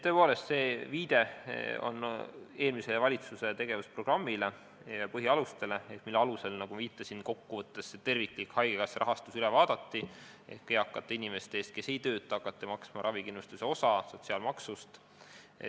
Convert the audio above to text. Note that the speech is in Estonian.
Tõepoolest, see viide on eelmise valitsuse tegevusprogrammile ja põhialustele, mille alusel, nagu ma viitasin, kokkuvõttes haigekassa terviklik rahastus üle vaadati ja eakate inimeste eest, kes ei tööta, hakati maksma ravikindlustuse osa sotsiaalmaksust.